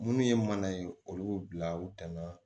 Munnu ye mana ye olu bila u tanan